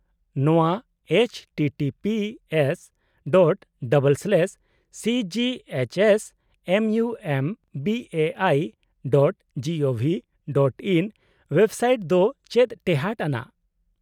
ᱱᱚᱶᱟ-httpsᱺ//cghsmumbaiᱹgovᱹin website ᱫᱚ ᱪᱮᱫ ᱴᱮᱦᱟᱴ ᱟᱱᱟᱜ ?